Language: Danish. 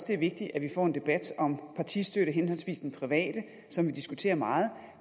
det er vigtigt at vi får en debat om partistøtte henholdsvis den private som vi diskuterer meget